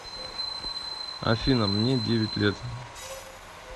афина мне девять лет